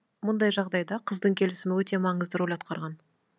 мұндай жағдайда қыздың келісімі өте маңызды роль атқарған